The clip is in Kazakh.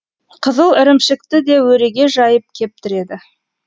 қызыл ірімшікті де өреге жайып кептіреді